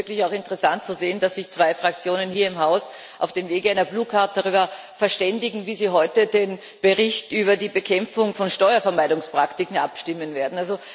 Es ist auch interessant zu sehen, dass sich zwei Fraktionen hier im Haus auf dem Wege einer darüber verständigen, wie sie heute über den Bericht über die Bekämpfung von Steuervermeidungspraktiken abstimmen werden.